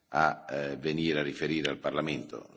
a venire a riferire al Parlamento.